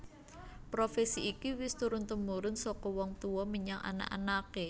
Profesi iki wis turun tumurun saka wong tuwa menyang anak anaké